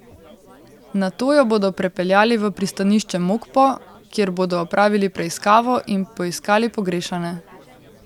Nato jo bodo prepeljali v pristanišče Mokpo, kjer bodo opravili preiskavo in poiskali pogrešane.